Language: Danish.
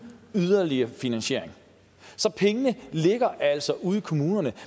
yderligere finansiering så pengene ligger altså ude i kommunerne